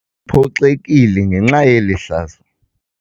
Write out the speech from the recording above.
Uphoxekile ngenxa yeli hlazo.